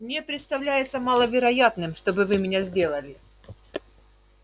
мне представляется маловероятным чтобы вы меня сделали